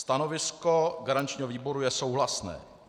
Stanovisko garančního výboru je souhlasné.